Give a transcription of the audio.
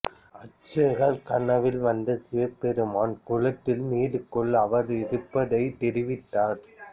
அர்ச்சகர் கனவில் வந்த சிவபெருமான் குளத்தில் நீருக்கள் அவர் இருப்பதை தெரிவித்தார்